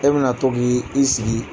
E bɛna to k'i sigi